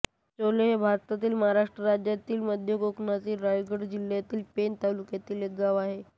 चोले हे भारतातील महाराष्ट्र राज्यातील मध्य कोकणातील रायगड जिल्ह्यातील पेण तालुक्यातील एक गाव आहे